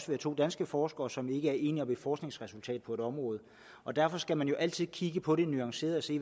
være to danske forskere som ikke er enige om et forskningsresultat på et område og derfor skal man jo altid kigge på det nuanceret og se